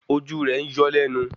Ojú rẹ̀ ń yọ́ lẹ́nu